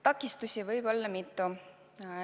Takistusi võib olla mitu.